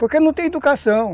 Porque não tem educação.